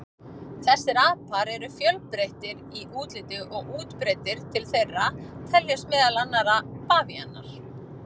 Þessir apar eru fjölbreyttir í útliti og útbreiddir, til þeirra teljast meðal annarra bavíanar.